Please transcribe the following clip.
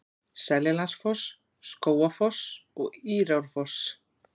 Seljalandsfoss, Skógafoss og Írárfoss.